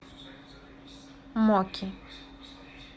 моки